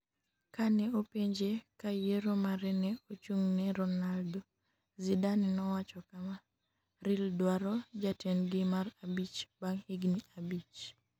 Kane openje ka yiero mare ne ochung'ne Ronaldo, Zidane nowacho kama: Real dwaro jatendgi mar abich bang' higni abich.